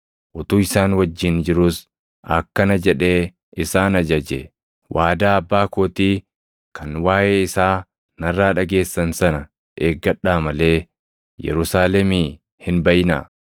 Utuu isaan wajjin jiruus akkana jedhee isaan ajaje; “Waadaa Abbaa kootii kan waaʼee isaa narraa dhageessan sana eeggadhaa malee Yerusaalemii hin baʼinaa.